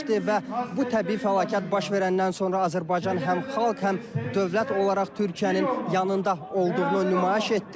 Və bu təbii fəlakət baş verəndən sonra Azərbaycan həm xalq, həm dövlət olaraq Türkiyənin yanında olduğunu nümayiş etdirdi.